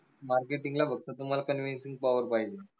marketing ला फक्त तुम्हाला convincingpower पाहिजे